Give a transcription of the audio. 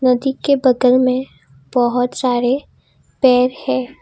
नदी के बगल में बहुत सारे पेर हैं।